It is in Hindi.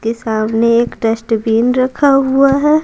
के सामने एक डस्टबिन रखा हुआ है।